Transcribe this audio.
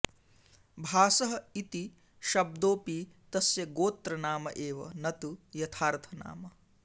भासः इति शब्दोऽपि तस्य गोत्रनाम एव न तु यथार्थनाम